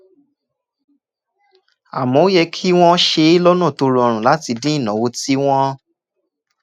àmọ́ ó yẹ kí wọ́n ṣe é lọ́nà tó rọrùn láti dín ìnáwó tí wọ́n ń